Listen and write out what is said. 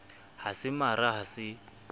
ha se mara ha se